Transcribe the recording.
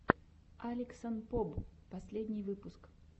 алексанпоб последний выпуск